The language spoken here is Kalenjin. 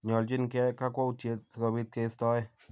Nyoljin keyai kakwautyet si kobiit keistoe